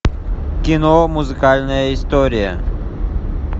кино музыкальная история